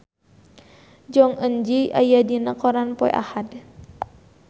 Jong Eun Ji aya dina koran poe Ahad